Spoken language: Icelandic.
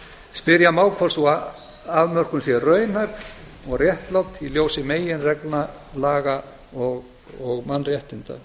spyrja má hvort sú afmörkun sé raunhæf og réttlát í ljósi meginreglna laga og mannréttinda